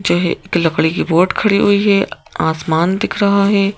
जो है एक लकड़ी की बोट खड़ी हुई है आसमान दिख रहा है।